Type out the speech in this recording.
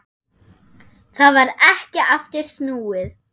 Það varð ekki aftur snúið.